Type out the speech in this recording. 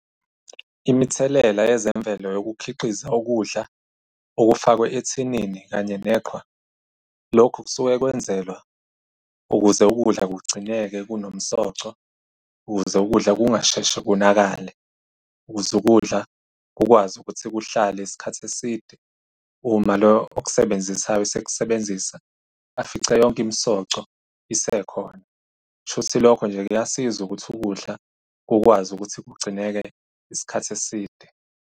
Imithelela yezemvelo yokukhiqiza ukudla okufakwe ethinini kanye neqhwa, lokhu kusuke kwenzelwa ukuze ukudla kugcineke kunomsoco. Ukuze ukudla kungasheshi kunakale, ukuze ukudla kukwazi ukuthi kuhlale isikhathi eside uma lo okusebenzisayo esekusebenzisa, afice yonke imisoco isekhona. Kushuthi lokho nje kuyasiza ukuthi ukudla kukwazi ukuthi kugcineke isikhathi eside.